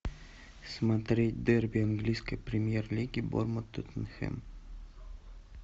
смотреть дерби английской премьер лиги борнмут тоттенхэм